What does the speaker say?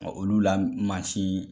olu la mansi